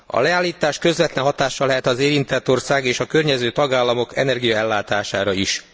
A leállítás közvetlen hatással lehet az érintett ország és a környező tagállamok energiaellátására is.